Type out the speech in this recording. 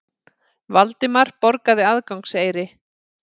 Valdimar borgaði aðgangseyri.